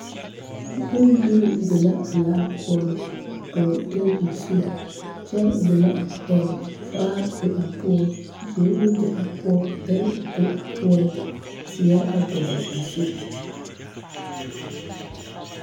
Bondirii be la a laa poͻŋ a dͻgele teebole zu gyԑle be la a poͻŋ, vaare be a poͻŋ gyԑnlee be a poͻ bԑŋ be a poͻŋ, zeԑre dͻgele a zu.